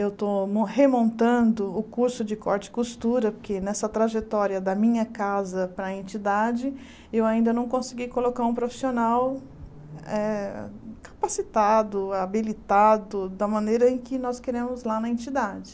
Eu estou mo remontando o curso de corte e costura, porque nessa trajetória da minha casa para a entidade, eu ainda não consegui colocar um profissional eh capacitado, habilitado, da maneira em que nós queremos lá na entidade.